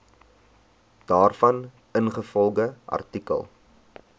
daarvan ingevolge artikel